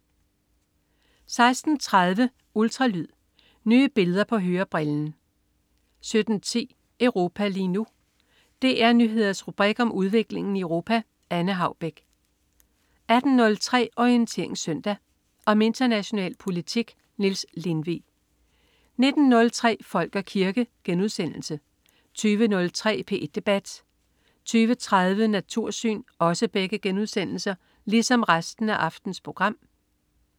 16.30 Ultralyd. Nye billeder på hørebrillen 17.10 Europa lige nu. DR Nyheders rubrik om udviklingen i Europa. Anne Haubek 18.03 Orientering Søndag. Om international politik. Niels Lindvig 19.03 Folk og kirke* 20.03 P1 debat* 20.30 Natursyn*